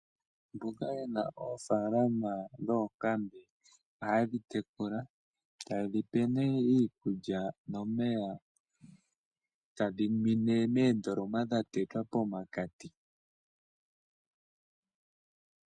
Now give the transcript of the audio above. Mboka yena oofalama dhoonkambe ohaye dhitekula. Ta ye dhipe nee iikulya nomeya tadhi ninwe moondoloma dhatetwa pomakati.